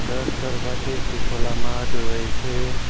রাস্তার পাশে একটি খোলা মাঠ রয়েছে।